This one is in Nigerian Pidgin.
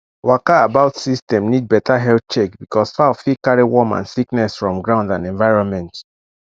waka about system need better health check because fowl fit carry worm and sickness from ground and and environment